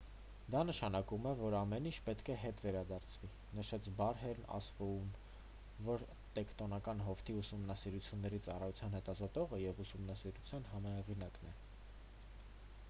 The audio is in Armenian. դա նշանակում է որ ամեն ինչ պետք է հետ վերադարձվի»,- նշեց բերհեյն ասֆոուն որը տեկտոնական հովտի ուսումնասիրությունների ծառայության հետազոտողը և ուսումնասիրության համահեղինակն է: